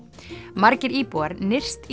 margir íbúar nyrst í